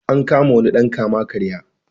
An kama wani dan kama-karya.